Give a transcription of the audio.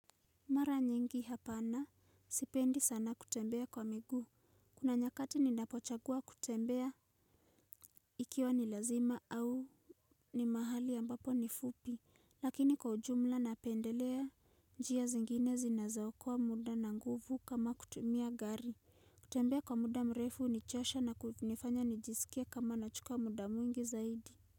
Mara nyingi hapana, sipendi sana kutembea kwa miguu, kuna nyakati ninapochagua kutembea ikiwa ni lazima au ni mahali ambapo ni fupi, lakini kwa ujumla napendelea njia zingine zinazaokoa muda na nguvu kama kutumia gari, kutembea kwa muda mrefu hunichosha na kunifanya nijisikie kama nachukua muda mwingi zaidi.